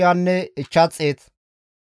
Gaade zarkkefe 45,650